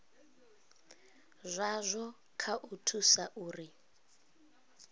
zwazwo kha u thusa uri